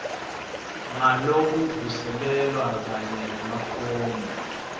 ngalokuvuselelwa kanye nemafomu